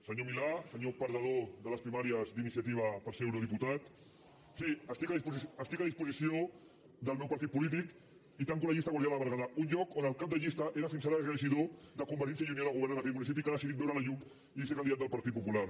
senyor milà senyor perdedor de les primàries d’iniciativa per ser eurodiputat sí estic a disposició del meu partit polític i tanco la llista de guardiola de berguedà un lloc on el cap de llista era fins ara regidor de convergència i unió del govern en aquell municipi que ha decidit veure la llum i ser candidat del partit popular